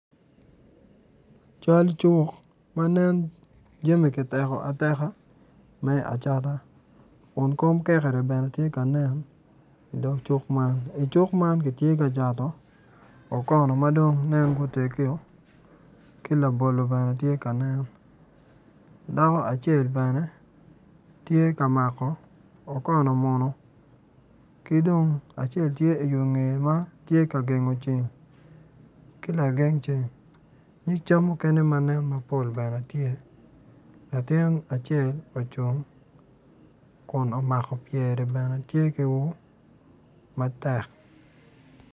Cal cuk man nen jami kiteko ateka me acata kun kom kekere tye ka nen i dog cuk man i cuk man kitye ka cato okono ma ginen dong gutegio ki labolo bene tye kanen dako acel bene tye ka mako okono muno ki dong acel tye ki i ngeye ma tye ka gengo ceng ki lageng ceng nyig cam mukene manen mapol bene tye latin acel bene ocung kun omako pyere bene tye ki ur matek.